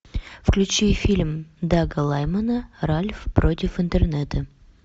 включи фильм дага лаймана ральф против интернета